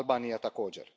Albanija također.